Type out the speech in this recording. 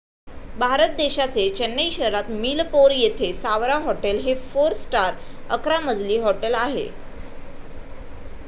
भारत देशाचे चेन्नई शहरात मिलपोर येथे सावरा हॉटेल हे फोर स्टार अकरा मजली हॉटेल आहे.